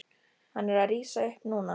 Hann er að rísa upp núna.